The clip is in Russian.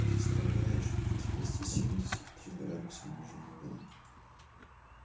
представляешь двести семьдесят три градуса ниже нуля